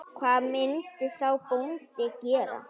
Hvað myndi sá bóndi gera?